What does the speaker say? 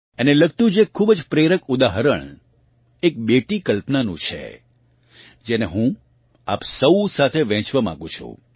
અને લગતું જ એક ખૂબ જ પ્રેરક ઉદાહરણ એક બેટી કલ્પનાનું છે જેને હું આપ સૌ સાથે વહેંચવાં માગું છું